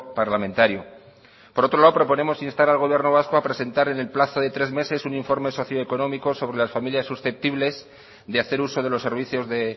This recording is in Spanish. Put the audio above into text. parlamentario por otro lado proponemos instar al gobierno vasco a presentar en el plazo de tres meses un informe socio económico sobre las familias susceptibles de hacer uso de los servicios de